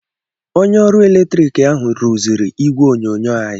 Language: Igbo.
Onye ọrụ latrik ahụ rụziri ìgwè onyonyo anyị.